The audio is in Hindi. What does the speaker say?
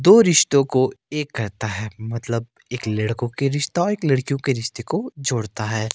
दो रिश्तो को एक करता है मतलब एक लड़कों के रिश्ता एक लड़कियों के रिश्ते को जोड़ता है।